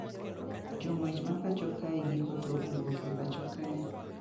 Jo ng`wech ma pacho kae giko to owuok e pacho kae